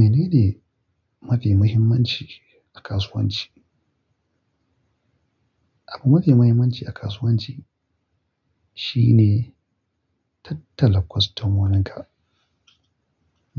Menene mafi muhimmanci a kasuwanci? Abu mafi muhimmanci a kasuwanci shine tattala kwastomoninka.